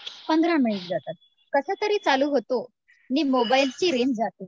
पंधरा मिनिटे जातात कसं तरी चालू होतो, आणि मोबाईलचा रेंज जातो.